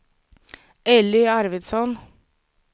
Elly Arvidsson